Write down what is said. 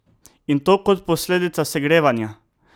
In to kot posledica segrevanja!